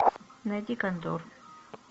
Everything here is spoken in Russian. найди кондор